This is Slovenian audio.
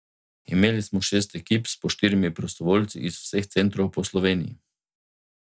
Imeli smo šest ekip s po štirimi prostovoljci iz vseh centrov po Sloveniji.